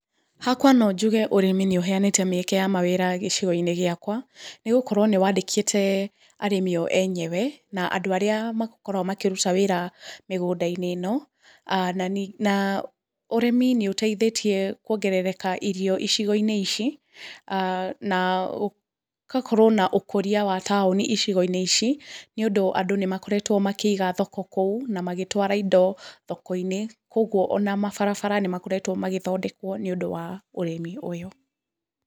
Hakwa no njuge ũrĩmi nĩ ũheanĩte mĩeke ya mawĩra gĩcigo-inĩ gĩakwa, nĩ gũkoro nĩ wandĩkĩte arĩmi o enyewe na andũ arĩa makoragwo makĩruta wĩra mĩgunda-inĩ ĩno, na ũrĩmi nĩ ũteithĩtie kuongerereka irio icigo-inĩ ici na ũgakorwo na ũkũria wa taoni icigo-inĩ ici, nĩ ũndũ andũ nĩ makoretro makĩiga thoko kũu na magĩtwara indo thao-inĩ, kũguo ona mabarabara nĩ makoretwo magĩthondekwo nĩ ũndũ wa ũrĩmi ũyũ.